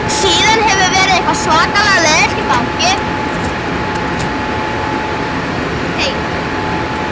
Síðan hefur verið stöðug minnkun